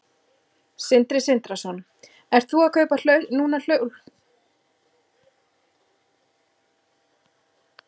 Sindri Sindrason: Ert þú að kaupa núna hlutabréf?